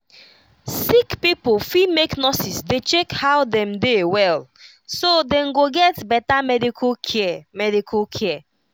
sick pipo fit make nurses dey check how dem dey well so dem go get better medical care medical care